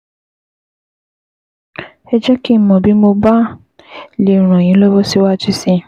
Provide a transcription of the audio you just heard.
Ẹ jẹ́ kí n mọ̀ bí mo bá lè ràn yín lọ́wọ́ síwájú sí i